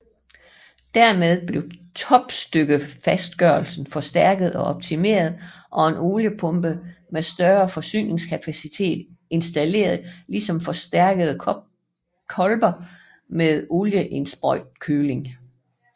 Dermed blev topstykkefastgørelsen forstærket og optimeret og en oliepumpe med større forsyningskapacitet installeret ligesom forstærkede kolber med oliesprøjtekøling